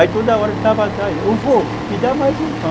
Aí toda hora eu estava atrás, ó avô, me dá mais um pão.